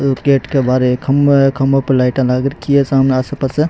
एक गेट के बार एक खम्भा है खम्भों पे लाइटा लाग राखी है साम आस पास।